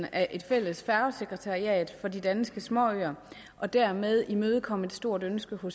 af et fælles færgesekretariat for de danske småøer og dermed imødekomme et stort ønske på